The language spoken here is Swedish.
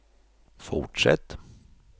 fortsätt